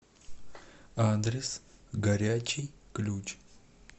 адрес горячий ключ